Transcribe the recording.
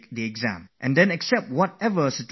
And whatever situation appears, accept it